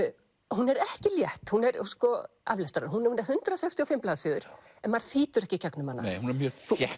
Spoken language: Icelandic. hún er ekki létt aflestrar hún er hundrað sextíu og fimm blaðsíður en maður þýtur ekki í gegnum hana hún er mjög þétt